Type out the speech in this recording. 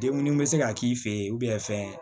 Den munnu be se ka k'i fɛ yen fɛn